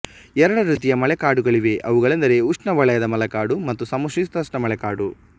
ಎರಡು ರೀತಿಯ ಮಳೆಕಾಡುಗಳಿವೆ ಅವುಗಳೆಂದರೆ ಉಷ್ಣವಲಯದ ಮಳೆಕಾಡು ಮತ್ತು ಸಮಶೀತೋಷ್ಣ ಮಳೆಕಾಡು